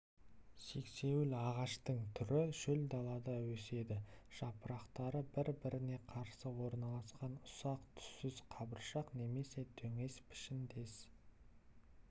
сексеуіл ағаштың түрі шөл далада өседі жапырақтары бір-біріне қарсы орналасқан ұсақ түссіз қабыршақ немесе дөңес пішіндес